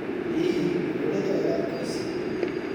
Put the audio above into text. Hihi, nĩ ũrĩte wega thikũ ici?